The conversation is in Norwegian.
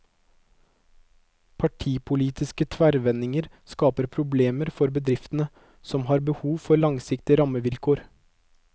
Partipolitiske tverrvendinger skaper problemer for bedriftene, som har behov for langsiktige rammevilkår.